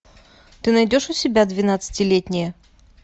ты найдешь у себя двенадцатилетние